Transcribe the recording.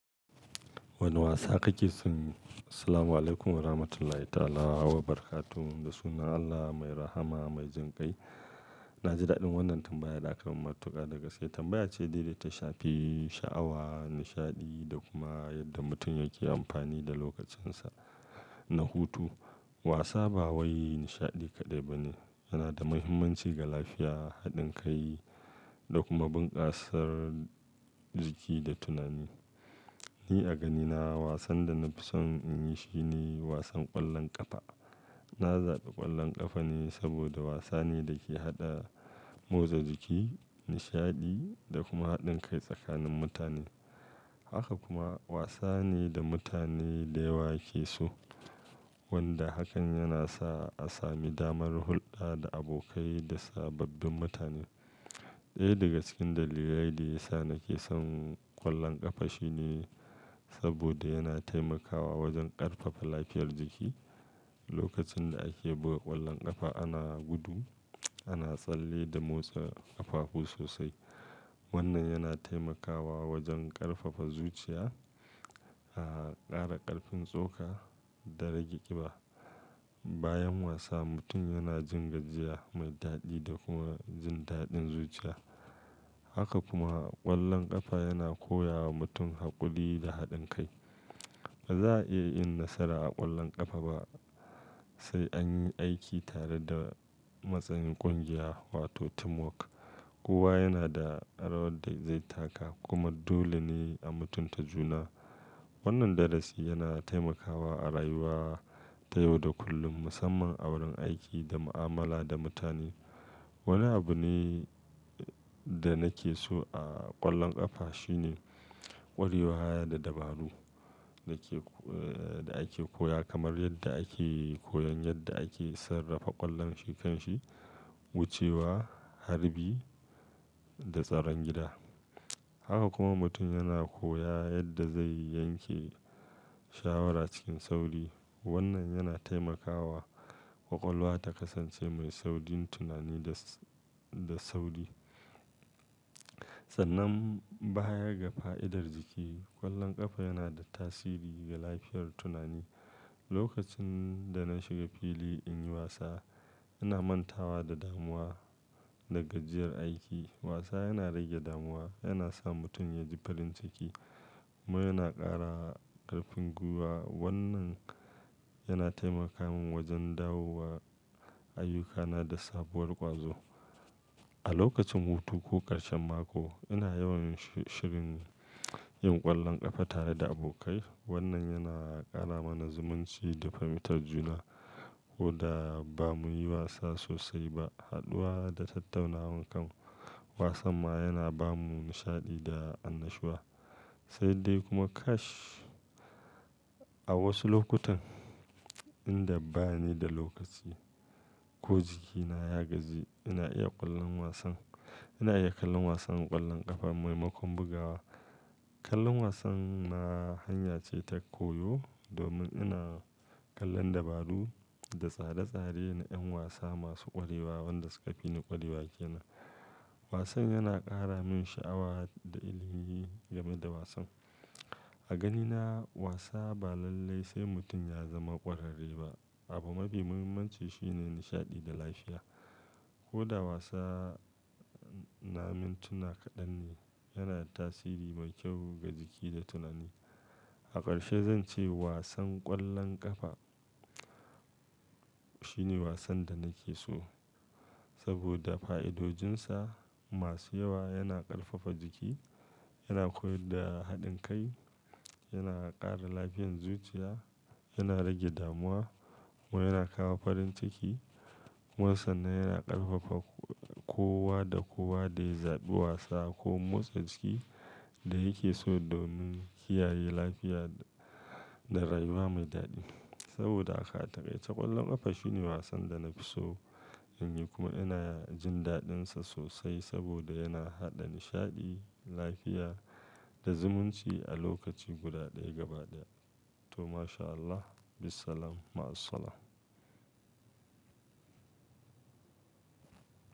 Wanne wasa kake so? Assalamualaikum Warahmatullahi Ta'ala Wabarakatuh. Da sunan Allah mai rahama mai jin kai. Na ji daɗin wannan tambaya da aka mun matuka da gaske. Tambayar ce daidai ta shafi sha'awa, nishaɗi da kuma yadda mutum yake amfani da lokacinsa na hutu. Wasa ba wai nishaɗi kaɗai ba ne, yana da mahimmanci ga lafiya, haɗin kai da kuma bunƙasar jiki da tunani. Ni a ganina wasan da na fi son in yi shine wasan ƙwallon ƙafa. Na zaɓi ƙwallon ƙafa ne saboda wasa ne da ke haɗa motsa jiki, nishaɗi da kuma haɗin kai tsakanin mutane. Haka kuma wasa ne da mutane da yawa ke so, wanda hakan yana sa a sami damar hulɗa da abokai da sababbin mutane. Ɗaya daga cikin dalilai da yasa nake son ƙwallon ƙafa shine saboda yana taimakawa wajen ƙarfafa lafiyar jiki. Lokacin da ake buga ƙwallon ƙafa ana gudu, ana tsalle da motsa ƙafafu sosai. Wannan yana taimakawa wajen ƙarfafa zuciya, ƙara ƙarfin tsoka da rage ƙiba. Bayan wasa, mutum yana jin gajiya mai daɗi da kuma jin daɗin zuciya. Haka kuma ƙwallon ƙafa yana koya wa mutum haƙuri da haɗin kai. Ba za a iya yin nasara a ƙwallon ƙafa ba sai an yi aiki tare da matsayin ƙungiya wato teamwork. Kowa yana da rawar da zai taka kuma dole ne a mutunta juna. Wannan darasi yana taimakawa a rayuwa ta yau da kullum, musamman a wurin aiki da mu'amala da mutane. Wani abu ne da nake so a ƙwallon ƙafa shine ƙwarewa da dabaru da ake koya kamar yadda ake koyon yadda ake sarrafa ƙwallon shi kanshi, wucewa, harbi da tsaron gida. Haka kuma mutum yana koya yadda zai yanke shawara cikin sauri. Wannan yana taimakawa ƙwaƙwalwa ta kasance mai saurin tunani da, da sauri. Sannan baya ga fa'idar jiki, ƙwallon ƙafa yana da tasiri ga lafiyar tunani. Lokacin da na shiga fili in yi wasa, ina mantawa da damuwa da gajiyar aiki. Wasa yana rage damuwa, yana sa mutum ya ji farin ciki kuma yana ƙara ƙarfin gwiwa. Wannan yana taimaka min wajen dawowa ayyukana da sabuwar ƙwazo. A lokacin hutu ko ƙarshen mako, ina yawan shirin yin ƙwallon ƙafa tare da abokai. Wannan yana ƙara mana zumunci da fahimtar juna. Koda bamu yi wasa sosai ba, haɗuwa da tattaunawan kan wasan ma yana ba mu nishaɗi da annashuwa. Sai dai kuma kash. A wasu lokutan inda bani da lokaci ko jikina ya gaji, ina iya kallon wasan, ina iya kallon wasan ƙwallon ƙafa maimakon bugawa. Kallon wasan ma hanya ce ta koyo domin ina kallon dabaru da tsare-tsare na 'yan wasa masu ƙwarewa wanda suka fi ni ƙwarewa ke nan. Wasan yana ƙara min sha'awa da ilimi game da wasan. A ganina wasa ba lallai sai mutum ya zama ƙwararre ba. Abu mafi muhimmanci shine nishaɗi da lafiya. Koda wasa na mintuna kaɗan ne, yana da tasiri mai kyau ga jiki da tunani. A ƙarshe zan ce wasan ƙwallon ƙafa shine wasan da nake so saboda fa'idojinsa masu yawa. Yana ƙarfafa jiki, yana koyar da haɗin kai, yana ƙara lafiyar zuciya, yana rage damuwa kuma yana kawo farin ciki. Kuma sannan yana ƙarfafa kowa da kowa da ya zaɓi wasa ko motsa jiki da yake so domin kiyaye lafiya da rayuwa mai daɗi. Saboda haka atakaice ƙwallon ƙafa shine wasan da na fi so in yi kuma ina jin daɗinsa sosai saboda yana haɗa nishaɗi, lafiya da zumunci a lokaci guda ɗaya gaba ɗaya. To masha Allah. Bissalam. Maassalam.